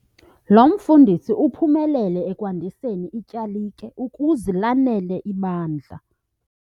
Lo mfundisi uphumelele ekwandiseni ityalike ukuze lanele ibandla.